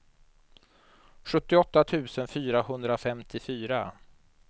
sjuttioåtta tusen fyrahundrafemtiofyra